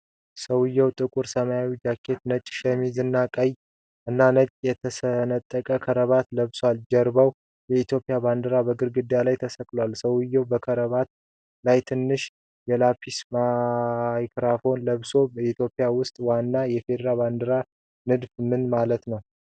ሰውዬው ጥቁር ሰማያዊ ጃኬት፣ ነጭ ሸሚዝ እና ቀይ እና ነጭ የተሰነጠቀ ክራባት ለብሷል። ከጀርባው የኢትዮጵያ ባንዲራ በግድግዳ ላይ ተሰቅሏል። ሰውዬው በክራባቱ ላይ ትንሽ የላፔል ማይክሮፎን ለብሷል። በኢትዮጵያ ውስጥ ዋናው የፌዴራል ባንዲራ ንድፍ ምን ማለት ነው?